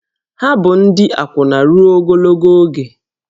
Ha bụ ndị akwụna ruo ogologo oge